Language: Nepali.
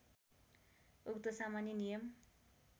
उक्त सामान्य नियम